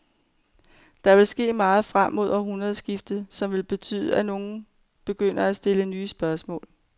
Der vil ske meget frem mod århundredeskiftet, som vil betyde, at nogle begynder at stille nye spørgsmål.